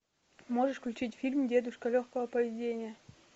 можешь включить фильм дедушка легкого поведения